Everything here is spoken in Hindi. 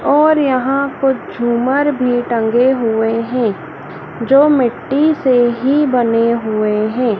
और यहां कुछ झूमर भी टंगे हुए हैं जो मिट्टी से ही बने हुए हैं।